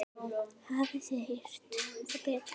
Hafið þið heyrt það betra?